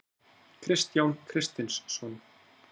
Kristján Kristinsson.